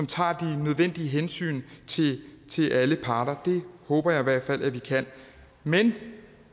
tager de nødvendige hensyn til alle parter det håber jeg i hvert fald at vi kan men